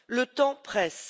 Le temps presse